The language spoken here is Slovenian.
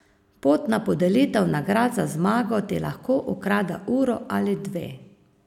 Pot na podelitev nagrad za zmago ti lahko ukrade uro ali dve.